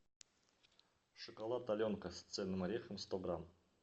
шоколад аленка с цельным орехом сто грамм